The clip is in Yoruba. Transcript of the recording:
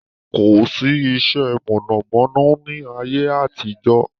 Kosi iṣẹ́ mọ̀nàmọ́ná ni ayé àtijọ́